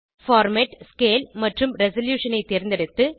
format scale மற்றும் resolution ஐ தேர்ந்தெடுத்து